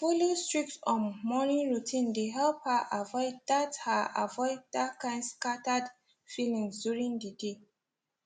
to follow strict um morning routine dey help her avoid that her avoid that kind scattered feeling during the day